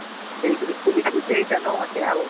ଦେଇଥିଲି ଖୁଲୀଥିଲି ସେଇଟା ନ ଅଛେ ଆଉ